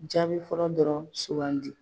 Jaabi fɔlɔ dɔrɔnw sugandi.